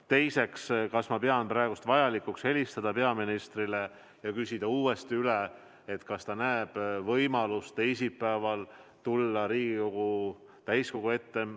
Teiseks, kas ma pean vajalikuks praegu helistada peaministrile ja küsida uuesti üle, kas ta näeb võimalust teisipäeval tulla Riigikogu täiskogu ette?